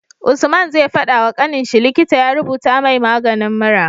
Usman zai fada wa kaninshi likita ya rubuta mai maganin mura